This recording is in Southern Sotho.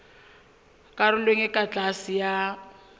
karolong e ka tlase ya